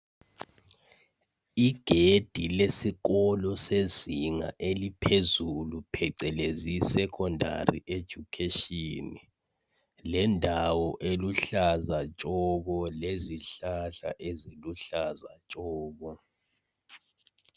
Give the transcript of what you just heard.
Igedi lesikolo sezinga eliphezulu phecelezi "Secondary education",lendawo eluhlaza tshoko, lezihlahla eziluhlaza tshoko.